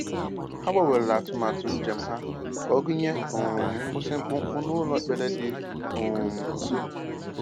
Ha gbanwere atụmatụ njem ha ka ọ gụnye um nkwụsị mkpụmkpụ n'ụlọ ekpere dị um nsọ.